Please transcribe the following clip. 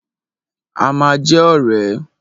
A ma jẹ́ ọ̀rẹ́.